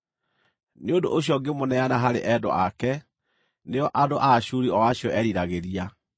“Nĩ ũndũ ũcio ngĩmũneana harĩ endwa ake, nĩo andũ a Ashuri o acio eeriragĩria.